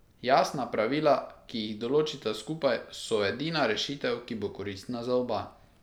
Jasna pravila, ki jih določita skupaj, so edina rešitev, ki bo koristna za oba.